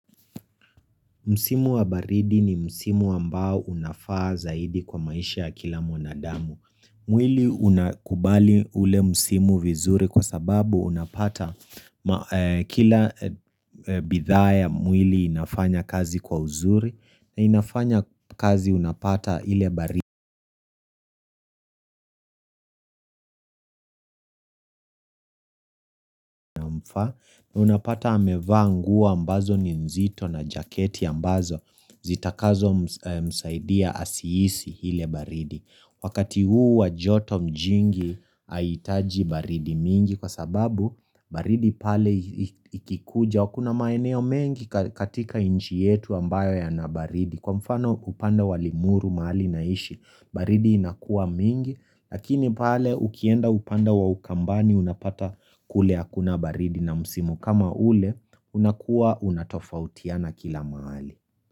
Msimu wa baridi ni msimu ambao unafaa zaidi kwa maisha ya kila mwanadamu. Mwili unakubali ule msimu vizuri kwa sababu unapata kila bidhaa ya mwili inafanya kazi kwa uzuri na inafanya kazi unapata ile baridi mfa na unapata amevaa nguo ambazo ni nzito na jaketi ambazo zitakazomsaidia asihisi ile baridi. Wakati huu wa joto jingi haihitaji baridi mingi kwa sababu baridi pale ikikuja kuna maeneo mengi katika nchi yetu ambayo yana baridi. Kwa mfano upande wa Limuru mahali naishi baridi inakua mingi Lakini pale ukienda upande wa ukambani unapata kule hakuna baridi na msimu kama ule unakuwa unatofautiana kila mahali.